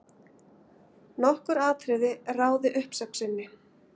Nokkur atriði ráði uppsögn sinni.